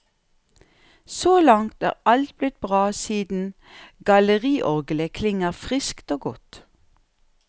Så langt er alt blitt bra siden galleriorglet klinger friskt og godt.